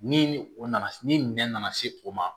Ni o nana ni nɛn nana se o ma